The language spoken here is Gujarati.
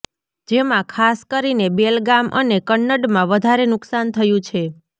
જેમા ખાસ કરીને બેલગામ અને કન્નડમાં વધારે નુકસાન થયુ છે